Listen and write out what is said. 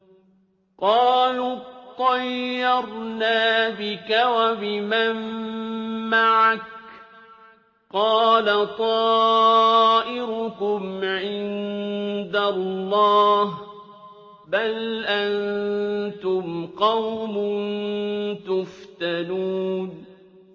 قَالُوا اطَّيَّرْنَا بِكَ وَبِمَن مَّعَكَ ۚ قَالَ طَائِرُكُمْ عِندَ اللَّهِ ۖ بَلْ أَنتُمْ قَوْمٌ تُفْتَنُونَ